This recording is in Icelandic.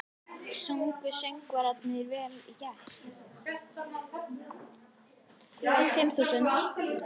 Sungu söngvararnir vel í gær?